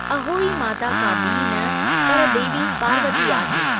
अहोई माता का ॿी न पर देवी पार्वती आहे।